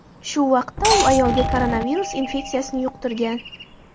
Shu vaqtda u ayolga koronavirus infeksiyasini yuqtirgan.